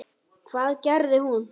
Hvað gerði hún?